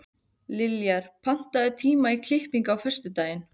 Liljar, pantaðu tíma í klippingu á föstudaginn.